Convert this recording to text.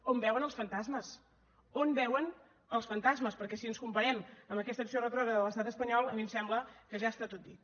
on veuen els fantasmes on veuen els fantasmes perquè si ens comparem amb aquesta acció retrògrada de l’estat espanyol a mi em sembla que ja està tot dit